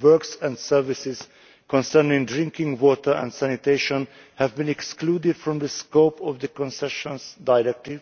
Works and services concerning drinking water and sanitation have been excluded from the scope of the Concessions Directive,